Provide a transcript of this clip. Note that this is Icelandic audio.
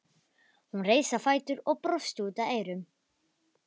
Hún reis á fætur og brosti út að eyrum.